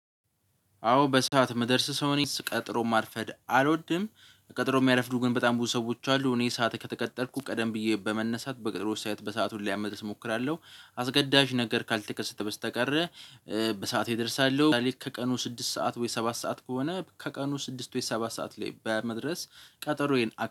አዎ በሰአት የምደርስ ሰው እኔ ሰው ቀጥሮ ማርፈድ አልወድም። ቀጥሮ የሚያረፍዱ ግን በጣም ብዙ ሰዎች አሉ እኔ ሰዓት ከተቀጠርኩ ቀደም ብዬ በመነሳት በጥሩ ስዓት በሰአቱ ለመድረስ እሞክራለሁ አስገዳጅ ነገር ካልተከሰተ በስተቀር በሰአቴ እደርሳለሁ። ዛሬ ከቀኑ ስድስት ሰዓት ወይ ሰባት ሰዓት ከሆነ ከቀኑ ስድስት ወይ ሰባት ሰዓት ላይ በመድረስ ቀጠሮዬን።